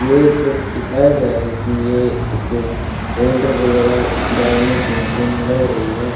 ये फिर दिखाया गया है कि ये एक होल्डर वगैरह डालने की मशीन लग रही है।